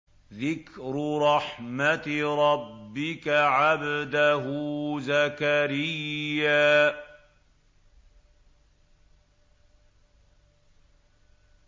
ذِكْرُ رَحْمَتِ رَبِّكَ عَبْدَهُ زَكَرِيَّا